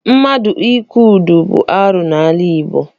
Mmadụ ịkwụ ụdọ bụ arụ n'ala Igbo.